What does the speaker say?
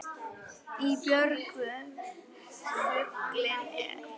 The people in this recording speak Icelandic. Í björgum fuglinn er.